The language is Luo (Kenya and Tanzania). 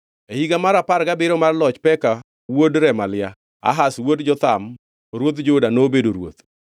E higa mar apar gabiriyo mar loch Peka wuod Remalia, Ahaz wuod Jotham ruodh Juda nobedo ruoth.